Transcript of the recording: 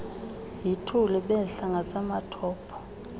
yituli behla ngasematopo